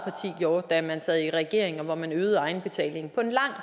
gjorde da man sad i regering og øgede egenbetalingen på en lang